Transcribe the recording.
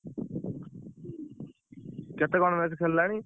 କେତେ ଖଣ୍ଡ match ଖେଳିଲାଣି।